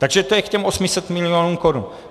Takže to je k těm 800 milionům korun.